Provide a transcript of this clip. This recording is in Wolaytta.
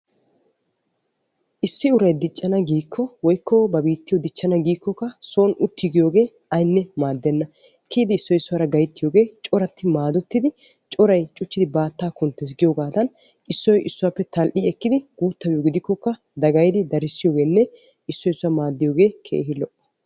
Issi uray diccana giikko woykko ba biittiyoo dichchana giikkokka soon uttiiggiyoogee aynne maaddenna. Kiyidi issoy issuwaara gayttiyoogee coratti maadettidi coray cuchchidi baattaa kunttes giyoogaadan issoy issuwaappe tal"i ekkidi guuttabiyo gidikkoka dagayidi darissiyoogeenne issoy issuwaa maaddiyoogee keehi lo"o.